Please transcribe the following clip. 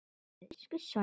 Elsku Sonja.